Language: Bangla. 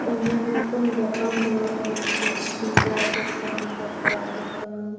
অনেক রকম দোকান দেওয়া হয়েছে সিঙ্গার দোকান কাপড়া দোকান --